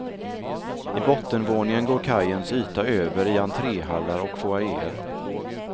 I bottenvåningen går kajens yta över i entréhallar och foajéer.